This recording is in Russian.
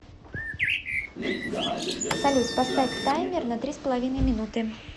салют поставь таймер на три с половиной минуты